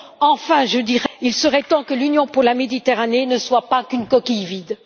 Enfin, il serait temps que l'Union pour la Méditerranée ne soit pas qu'une coquille vide.